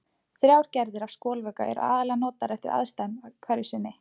Þrjár gerðir af skolvökva eru aðallega notaðar eftir aðstæðum hverju sinni.